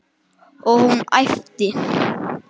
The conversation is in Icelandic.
Og hún æpti.